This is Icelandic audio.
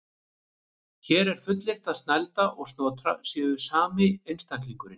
Hér er fullyrt að Snælda og Snotra séu sami einstaklingurinn.